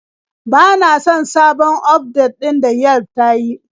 Bana son sabon ufdet ɗin da Yelf ta yi.